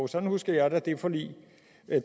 sådan husker jeg da det forlig det